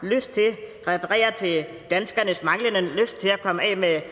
lyst til refererer til danskernes manglende lyst til at komme af med